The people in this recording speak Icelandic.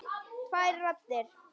Tvær raddir.